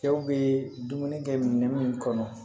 Cɛw bɛ dumuni kɛ minɛn minnu kɔnɔ